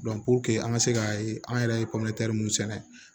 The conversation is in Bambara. an ka se ka an yɛrɛ ye minnu sɛnɛ